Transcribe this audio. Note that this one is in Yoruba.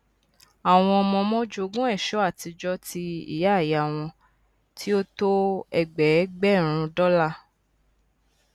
àwọn ọmọọmọ jogún ẹṣọ àtijọ ti ìyàìyá wọn tí ó tó ẹgbẹgbèrún dọ́là